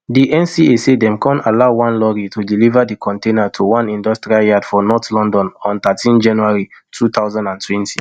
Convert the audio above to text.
di nca say dem kon allow one lorry to deliver di container to one industrial yard for north london on thirteen january two thousand and twenty